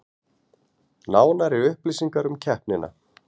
Nánari upplýsingar um keppnina